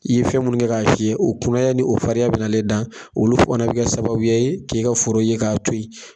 I ye fɛn minnu kɛ k'a fiyɛ o kunaya ni o farinya bɛn'ale da, olu fana bɛ kɛ sababuya ye k'i ka foro ye k'a to yen.